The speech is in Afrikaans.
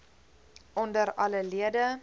onder alle lede